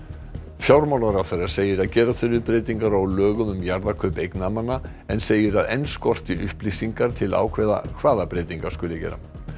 fjármálaráðherra segir að gera þurfi breytingar á lögum um jarðakaup eignamanna en segir að enn skorti upplýsingar til að ákveða hvaða breytingar skuli gera